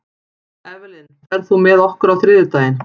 Evelyn, ferð þú með okkur á þriðjudaginn?